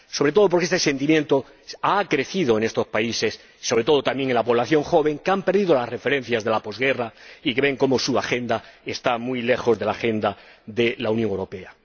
Sobre todo porque este sentimiento ha crecido en estos países —en particular entre la población joven—, que han perdido las referencias de la posguerra y que ven cómo su agenda está muy lejos de la agenda de la Unión Europea.